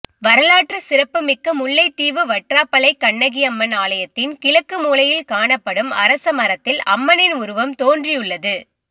வரலாற்று சிறப்புமிக்க முல்லைத்தீவு வற்றாப்பளை கண்ணகி அம்மன் ஆலயத்தின் கிழக்கு மூலையில் காணப்படும் அரசமரத்தில் அம்மனின் உருவம் தோன்றியுள்ளது